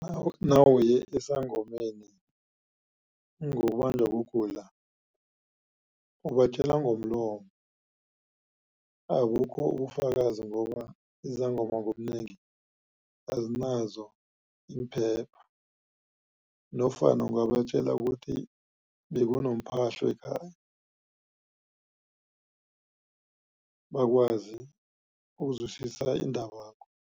Nawuye esangomeni ngokubanjwa kugula ubatjela ngomlomo abukho ubufakazi ngoba izangoma ngobunengi azinazo iimphepha nofana ungabatjela ukuthi bekunomphahlo ekhaya bakwazi ukuzwisisa indabakho.